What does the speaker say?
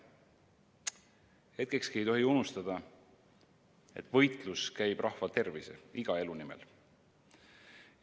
Hetkekski ei tohi unustada, et võitlus käib rahva tervise, iga elu nimel.